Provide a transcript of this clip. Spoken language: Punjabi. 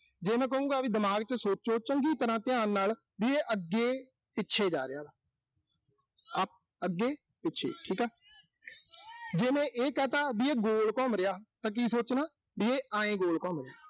ਜੇ ਮੈਂ ਕਹੂੰਗਾ ਵੀ ਦਿਮਾਗ ਚ ਸੋਚੋ, ਚੰਗੀ ਤਰ੍ਹਾਂ ਧਿਆਨ ਨਾਲ ਵੀ ਇਹ ਅੱਗੇ-ਪਿੱਥੇ ਜਾ ਰਿਹਾ ਗਾ। ਅਹ ਅੱਗੇ-ਪਿੱਛੇ ਠੀਕਾ। ਜੇ ਮੈਂ ਇਹ ਕਹਿਤ ਵੀ ਇਹ ਗੋਲ ਘੁੰਮ ਰਿਹਾ ਤਾਂ ਕੀ ਸੋਚਣਾ, ਵੀ ਇਹ ਆਏਂ ਗੋਲ ਘੁੰਮ ਰਿਹਾ।